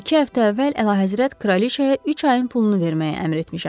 İki həftə əvvəl Əlahəzrət kraliçaya üç ayın pulunu verməyə əmr etmişəm.